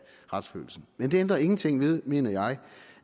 retsfølelsen men det ændrer ingenting med mener jeg